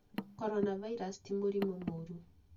coronavirus ti mũrimũ mũũru.